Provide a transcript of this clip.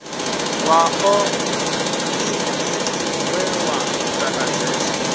wa oḽimpiki we wa ntakadzesa